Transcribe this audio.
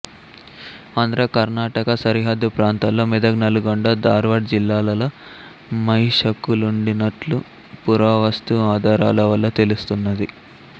ఆంధ్ర కర్ణాటక సరిహద్దు ప్రాంతాల్లో మెదక్ నల్గొండ ధార్వాడ్ జిల్లాలలో మహిషకులుండినట్లు పురావస్తు ఆధారలవల్ల తెలుస్తున్నది